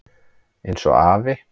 Eins og afi.